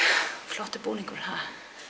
flottur búningur ha